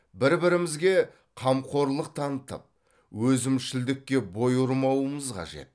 бір бірімізге қамқорлық танытып өзімшілдікке бой ұрмауымыз қажет